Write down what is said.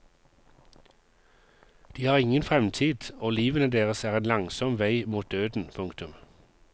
De har ingen fremtid og livene deres er en langsom vei mot døden. punktum